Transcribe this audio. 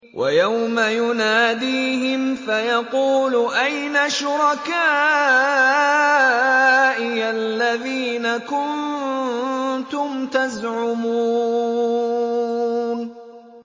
وَيَوْمَ يُنَادِيهِمْ فَيَقُولُ أَيْنَ شُرَكَائِيَ الَّذِينَ كُنتُمْ تَزْعُمُونَ